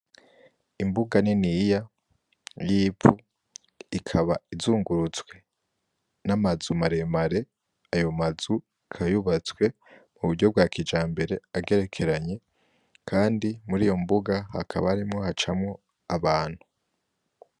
Imbuga niniya y'ivu ikaba izungurutswe n'amazu mare mare, ayo mazu akaba yubatswe muburyo bwa kijambere, agerekeranye, kandi muriyo mbuga hakaba harimwo hacamwo abantu.